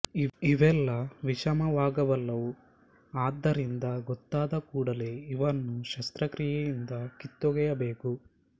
ಇವೆಲ್ಲ ವಿಷಮವಾಗಬಲ್ಲವು ಆದ್ದರಿಂದ ಗೊತ್ತಾದ ಕೂಡಲೇ ಇವನ್ನು ಶಸ್ತ್ರಕ್ರಿಯೆಯಿಂದ ಕಿತ್ತೊಗೆಯಬೇಕು